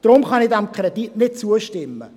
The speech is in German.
Deshalb kann ich diesem Kredit nicht zustimmen.